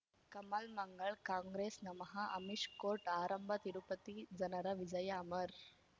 Kamal Mangal Congress ನಮಃ Amish court ಆರಂಭ ತಿರುಪತಿ ಜನರ ವಿಜಯ ಅಮರ್